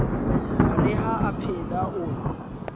ho re ha aphela o